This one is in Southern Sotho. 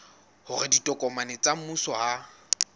hore ditokomane tsa mmuso ha